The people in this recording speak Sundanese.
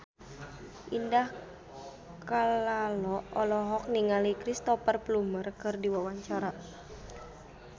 Indah Kalalo olohok ningali Cristhoper Plumer keur diwawancara